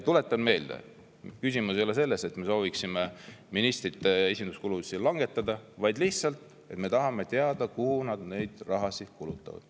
Tuletan meelde, et küsimus ei ole selles, et me soovime ministrite esinduskulusid vähendada, vaid me tahame lihtsalt teada, kuhu nad selle raha kulutavad.